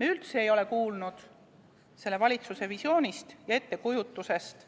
Me üldse ei ole kuulnud selle valitsuse visioonist ja ettekujutusest,